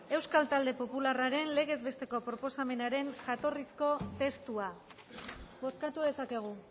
euskal talde popularraren legez besteko proposamenaren jatorrizko testua bozkatu dezakegu